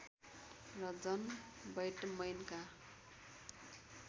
र जन बैटमैनका